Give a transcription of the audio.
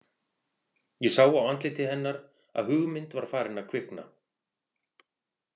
Ég sá á andliti hennar að hugmynd var farin að kvikna.